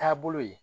Taabolo ye